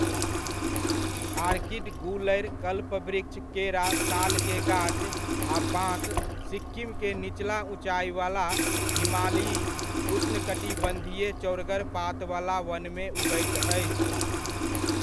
Orchid, गूलरि, कल्पवृक्ष, केरा, साल के गाछ आ बाँस सिक्किम के निचला उँचाइवला हिमालयी उष्णकटिबन्धीय चौड़गर पातवला वनमे उगैत अछि।